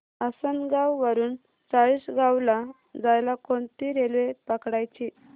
आसनगाव वरून चाळीसगाव ला जायला कोणती रेल्वे पकडायची